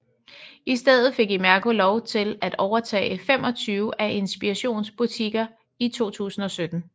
I stedet fik Imerco lov til at overtage 25 af Inspirations butikker i 2017